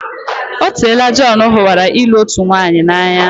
Otela Jon hụwara ịlụ otu nwaanyị n'anya.